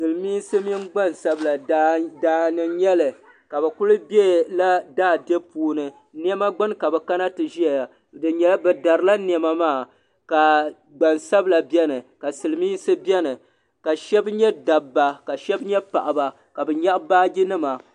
Silimiinsi mini gbansabila daa ni n-nyɛ li bɛ kuli bela daa dibu puuni nɛma gbuni ka bɛ kana ti ʒeya bɛ darila nɛma maa ka gbansabila beni ka Silimiinsi beni ka shɛba nyɛ dabba ka shɛba nyɛ paɣiba ka bɛ nyaɣi baajinima.